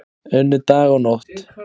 Unnu dag og nótt